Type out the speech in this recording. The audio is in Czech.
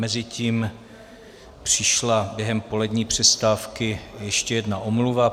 Mezitím přišla během polední přestávky ještě jedna omluva.